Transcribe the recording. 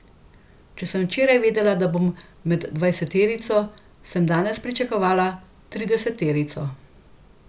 Če sem včeraj vedela, da bom med dvajseterico, sem danes pričakovala trideseterico.